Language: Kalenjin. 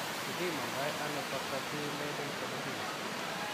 Kipimandoi ano Factor V Leiden thrombophilia?